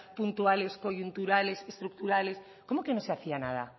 puntuales coyunturales estructurales cómo que no se hacía nada